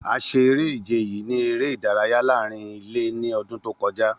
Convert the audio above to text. A ṣe ere-ije yii ni ere idaraya laarin ile ni ọdun to kọja.